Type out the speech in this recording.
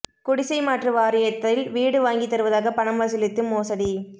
குடிசை மாற்று வாரியத்தில் வீடு வாங்கி தருவதாக பணம் வசூலித்து மோசடி